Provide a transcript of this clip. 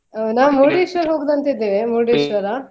ನಾವು Murdeshwara ಹೋಗುದಂತ ಇದ್ದೇವೆ ಮುರ್ಡೇಶ್ವರ.